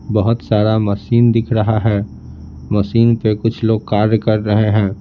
बहुत सारा मशीन दिख रहा है मशीन पे कुछ लोग कार्य कर रहे है।